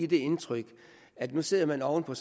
det indtryk at nu sidder man oven på